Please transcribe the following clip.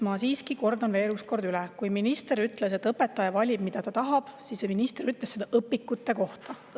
Ma kordan veel: kui minister ütles, et õpetaja valib, mida ta tahab, siis minister ütles seda õpikute kohta.